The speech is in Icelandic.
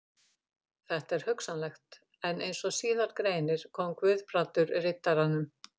Þetta er hugsanlegt, en eins og síðar greinir kom Guðbrandur Riddaranum